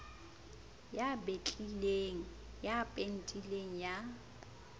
ya betlileng ya pentileng ya